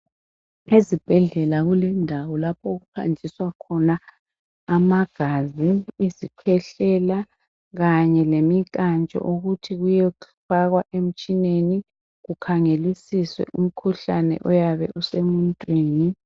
Ezibhedlela kulendawo lapho okuhanjiswa khona amagazi, isikhwehlela kanye lemikantsho ukuthi kuyofakwa emitshineni kukhangelisiswe umkhuhlane oyabe usemuntwini.